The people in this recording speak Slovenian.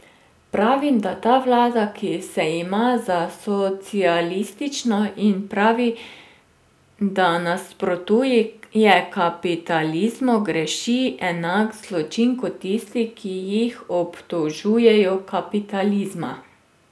Pravim, da ta vlada, ki se ima za socialistično in pravi, da nasprotuje kapitalizmu, greši enak zločin kot tisti, ki jih obtožujejo kapitalizma.